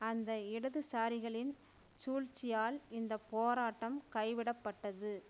அந்த இடதுசாரிகளின் சூழ்ச்சியால் இந்த போராட்டம் கை விடப்பட்டது